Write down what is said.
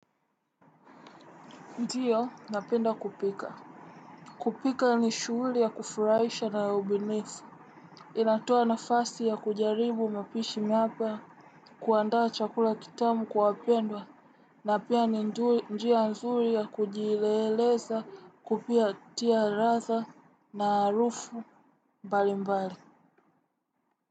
Ndiyo, napenda kupika. Kupika ni shuuli ya kufuraisha na ubinifu. Inatoa nafasi ya kujaribu mapishi mapia kuandaa chakula kitamu kwa wapendwa. Na pia ni njia nzuli yakujileleza kupatia ladha na aarufu mbali mbali.